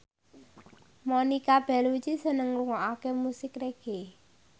Monica Belluci seneng ngrungokne musik reggae